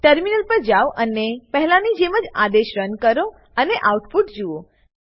terminal પર જાવ અને પહેલાની જેમ જ આદેશ રન કરો અને આઉટપુટ જુઓ